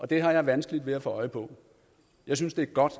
det har jeg vanskeligt ved at få øje på jeg synes det er godt